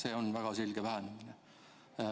See on väga selge vähenemine.